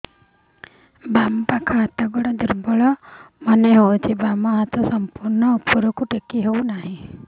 ବାମ ପାଖ ହାତ ଗୋଡ ଦୁର୍ବଳ ମନେ ହଉଛି ବାମ ହାତ ସମ୍ପୂର୍ଣ ଉପରକୁ ଟେକି ହଉ ନାହିଁ